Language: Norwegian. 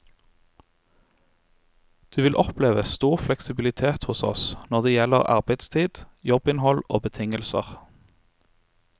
Du vil oppleve stor fleksibilitet hos oss når det gjelder arbeidstid, jobbinnhold og betingelser.